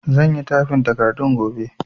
Zan yi tyfin takardun gobe